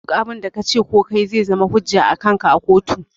Duk abun da kace ko kayi zai zama hujja akanka a kotu